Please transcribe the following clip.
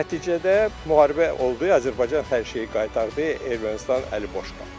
Nəticədə müharibə oldu, Azərbaycan hər şeyi qaytardı, Ermənistan əliboş qaldı.